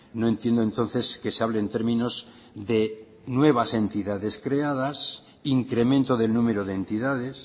no entiendo entonces que se hable en términos de nuevas entidades creadas incremento del número de entidades